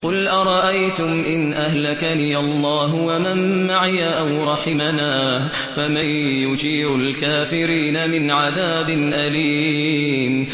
قُلْ أَرَأَيْتُمْ إِنْ أَهْلَكَنِيَ اللَّهُ وَمَن مَّعِيَ أَوْ رَحِمَنَا فَمَن يُجِيرُ الْكَافِرِينَ مِنْ عَذَابٍ أَلِيمٍ